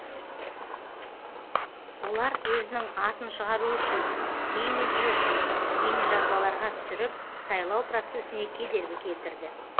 олар өзінің атын шығару үшін имиджі үшін бейнежазбаларға түсіріп сайлау процесіне кедергі келтірді